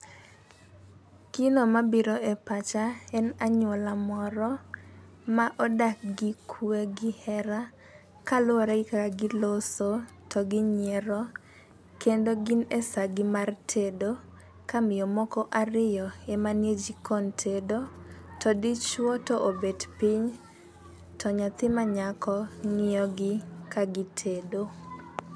Gino mabiro e pacha en anyuola moro ma odak gi kwe gi hera kaluwore gi kaka giloso to ginyiero .Kendo gin e saa gi mar tedo ka miyo moko ariyo ema nie jikon tedo to dichuo to obet piny to nyathi ma nyako ng'iyo gi ka gitedo.